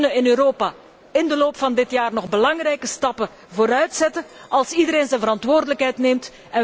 Wij kunnen in Europa in de loop van dit jaar nog belangrijke stappen vooruitzetten als iedereen zijn verantwoordelijkheid neemt.